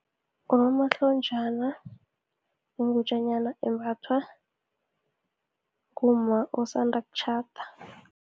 Unomahlonjana yingutjanyana, embathwa ngumma osanda kutjhada.